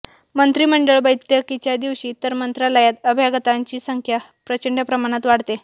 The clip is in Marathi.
मंत्रिमंडळ बैठकीच्या दिवशी तर मंत्रालयात अभ्यागतांची संख्या प्रचंड प्रमाणात वाढते